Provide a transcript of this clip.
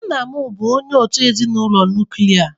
Nna m bụ onye òtù ezinụlọ nuklia.